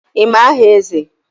Ị ma aha Eze?